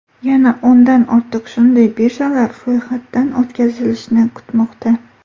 Yana o‘ndan ortiq shunday birjalar ro‘yxatdan o‘tkazilishni kutmoqda.